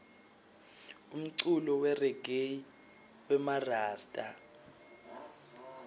umculo weregayi wemarasta